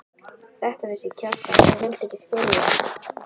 Þetta vissi Kjartan en vildi ekki skilja.